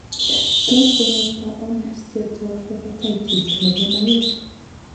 Tos kinyaita ono steatohepatitis nebo maiwek ?